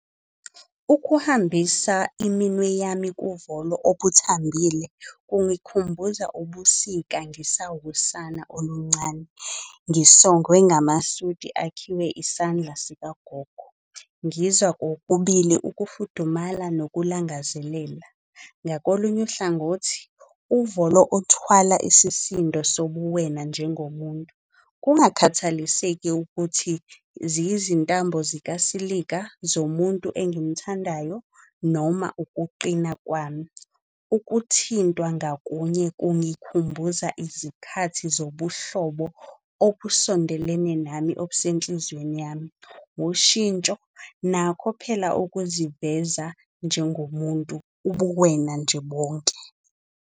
Ukuhambisa iminwe yami kuvolo obuthambile kungikhumbuza ubusika ngisawusana oluncane. Ngisongwe ngamasudi akhiwe isandla sikagogo. Ngizwa kokubili ukufudumala nokulangazelela. Ngakolunye uhlangothi, uvolo uthwala isisindo sobuwena njengomuntu. Kungakhathaliseki ukuthi ziyizintambo zikasilika zomuntu engimthandayo noma ukuqina kwami. Ukuthintwa ngakunye kungikhumbuza izikhathi zobuhlobo obusondelene nami, obusenhlizweni yami. Ushintsho nakho phela ukuziveza njengomuntu ubuwena nje bonke.